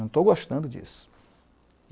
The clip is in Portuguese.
''Não estou gostando disso.''